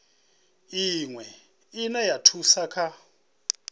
iwe ine ya thusa kha